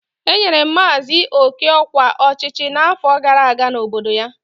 Enyere maazị oke ọkwa ọchịchị n'afọ gara aga n'obodo ya.